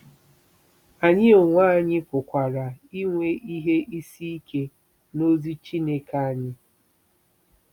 Anyị onwe anyị pụkwara inwe ihe isi ike n'ozi Chineke anyị.